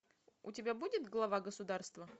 у тебя будет глава государства